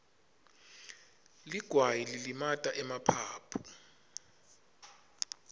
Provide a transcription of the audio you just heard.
ligwayi lilimata emaphaphu